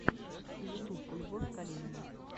ютуб любовь калинина